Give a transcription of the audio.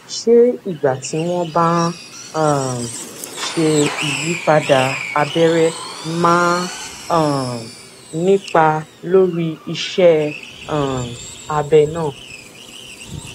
ṣé ìgbà tí wón bá ń um ṣe ìyípadà abẹrẹ máa ń um nípa lórí iṣé um abẹ náà